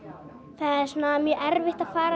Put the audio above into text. það er mjög erfitt að fara